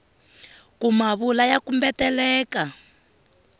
ku ma vula ya kumbeteleka